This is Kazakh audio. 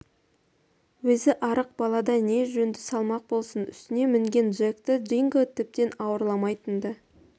өзі арық балада не жөнді салмақ болсын үстіне мінген джекті динго тіптен ауырламайтын да